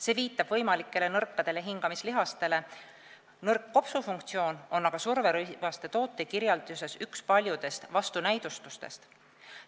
See viitab võimalikele nõrkadele hingamislihastele, nõrk kopsufunktsioon on aga surverõivaste tootekirjelduses üks paljudest vastunäidustustest.